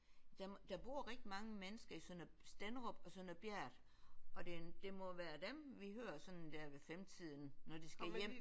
Der der bor rigtig mange mennesker i Sønder Stenderup og Sønder Bjert og det det må være dem vi hører sådan der ved femtiden når de skal hjem